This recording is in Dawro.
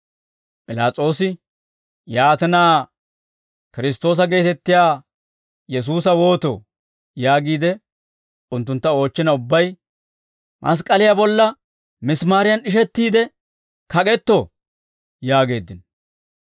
P'ilaas'oosi, «Yaatina, Kiristtoosa geetettiyaa Yesuusa wootoo?» yaagiide unttuntta oochchina ubbay, «Mask'k'aliyaa bolla misimaariyan d'ishettiide kak'etto» yaageeddino.